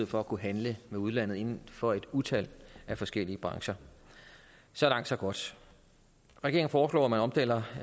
for at kunne handle med udlandet inden for et utal af forskellige brancher så langt så godt regeringen foreslår at man omdanner